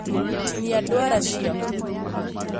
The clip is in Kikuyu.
Tinia ndwara ciaku